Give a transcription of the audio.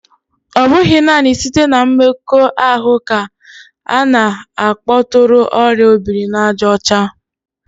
Ọ bụghị naanị site na mmekọahụ ka a na-akpọtụrụ oria obiri-na-aja ocha